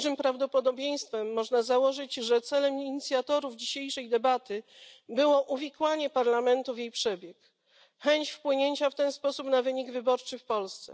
Z dużym prawdopodobieństwem można założyć, że celem inicjatorów dzisiejszej debaty było uwikłanie Parlamentu w jej przebieg, chęć wpłynięcia w ten sposób na wynik wyborczy w Polsce.